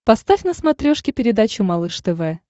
поставь на смотрешке передачу малыш тв